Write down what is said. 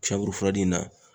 in na